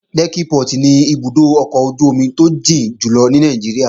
Lẹ́kkí Port ni ibùdó ọkọ̀ ojú-omi tó jìn jù ní Nàìjíríà